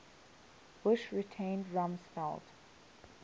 bush retained rumsfeld